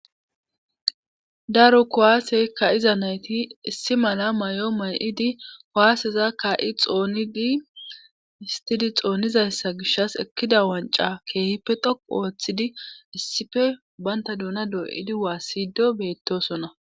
Daro kuwase ka'iza nayti issi mala may'o may'idi kuwaseza kaa'i xoonidi histied xoonidayssa gishaw ekkidi wancca keehippe dhoqqu ooththidi issippe bantta doona doo'idi waasido beetosona.